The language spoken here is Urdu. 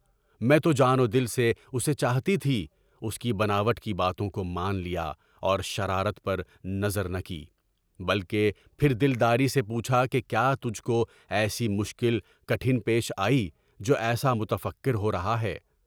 میں جان و دل سے اُسے چاہتی تھی، اُس کی بناوٹ کی باتوں کو مان لیا اور شرارت پر نظر نہ کی، بلکہ پھر دل داری سے پوچھا کہ کیا تجھ کو ایسی مشکل پیش آئی ہے کہ ابھی متفکر ہو رہا ہے؟